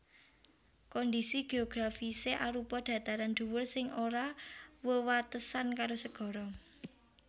Kondhisi geografisé arupa dataran dhuwur sing ora wewatesan karo segara